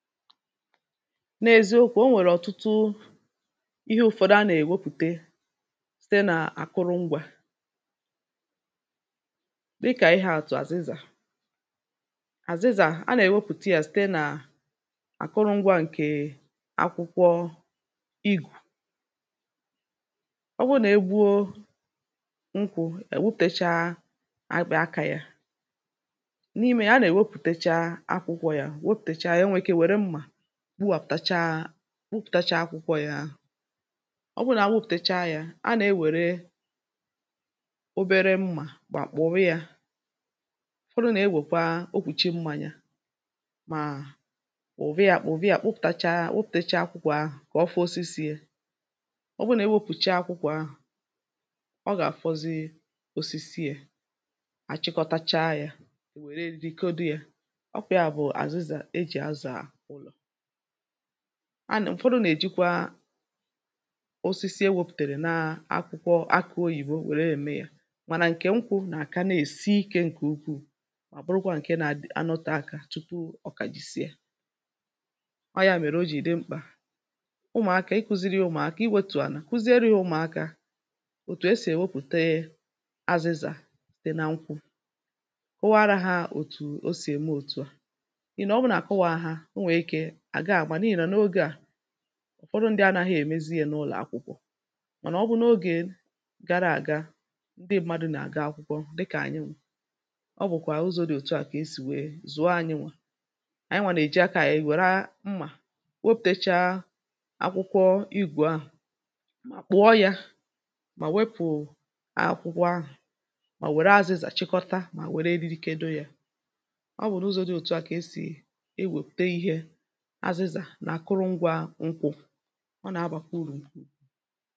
N’èziokwu̇, o nwèrè ọ̀tụtụ ihe ụ̇fọ̀dụ a nà-èwepùte site n’àkụrụ ngwȧ, dikà ihe àtụ̀ àzịzà; àzịzà, a nà-èwepùte yȧ site n’àkụrụ ngwȧ ǹkè akwụkwọ igù. ọ wụrụ nà e gbuo nkwụ̀ èwepùtècha akpị̀ aka yȧ. N’ime ya a nà-èwepùtècha akwụkwọ yȧ, wepụ̀tacha ya e nwere ike were mma, gbuwapùtacha gbupùtacha akwụkwọ yȧ ahụ̀. ọ bụrụ na wupùtècha yà, anà ewere obere mmà gbàkpọ̀rọ yȧ, ufodụ nà ewèkwa okwùchi mmȧnyȧ, màà kpụ̀ba yà kpụ̀ba yà kpọpụ̀tacha wepùtècha akwụkwọ ahụ̀ kà ọ fọ osisi yȧ. ọ bụrụ nà ewepùcha akwụkwọ ahụ̀, ọ gà-àfọzi osisi yȧ, àchịkọtacha yȧ yà wère eri kedo yȧ ọ ọ bụ̀ yà bụ̀ àzịzà e jì azà anà ufọdụ nà-èjikwa osisi ewėpụ̀tèrè na akwụkwọ akụ̇ oyìbo nwère ème yȧ mànà ǹke nkwu nà-àka na-èsi ikė ǹkè ukwuù mà bụrụkwa ǹke nȧ adi-anọte ȧkȧ tupu ọ̀kà jìsìe. ọ ya mèrè o jì ìdị mkpà, ụmụ̀akȧ, iku̇ziri ya ụmụ̀akȧ iwėtu̇ ànà kụziere ya ụmụ̀akȧ òtù esì èwepùte azịzà dị na nkwụ. Kowaara hȧ òtù o sì ème òtù a.N’ihi o buru na-akowara ha, o nwere ike ha àga àmà n’ihì nà ogė à ufọdụ ndị anȧghị̇ èmezi yȧ n’ụlọ̀ akwụkwọ̇. Mànà ọ bụ n’ogè gara àga, ndị ṁmȧdụ̇ nà-àga akwụkwọ dịkà anyị ọ bụ̀kwà à ụzọ̇ dị̇ òtù a kà e sì nwèe zụ̀ọ anyị ṅwà, ànyị nwà nà-èji akȧ ànyị were a mmà nwopùtecha akwụkwọ igù ahụ̀, mà kpụ̀ọ yȧ, mà wepù akwụkwọ ahụ̀, mà wère azị̇zà chịkọta, mà were eriri kedo yȧ. ọ bụ̀ n’ụzọ̇ dị òtù a kà esì e wèpùte ihe aziza n’akụrụngwa nkwụ. ọ na-aba kwa uru.